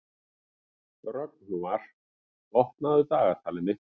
Rögnvar, opnaðu dagatalið mitt.